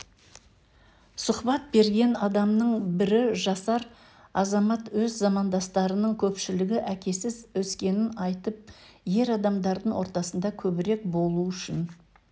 сұхбат берген адамның бірі жасар азамат өз замандастарының көпшілігі әкесіз өскенін айтып ер адамдардың ортасында көбірек болу үшін